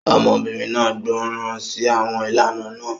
Ọmọbìnrin náà gbọ́ràn sí àwọn ìlànà náà.